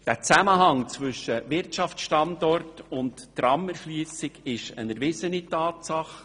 Der Zusammenhang zwischen Wirtschaftsstandort und Tramerschliessung ist eine erwiesene Tatsache.